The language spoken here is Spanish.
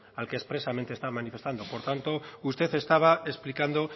al que expresamente está manifestando por lo tanto usted estaba explicando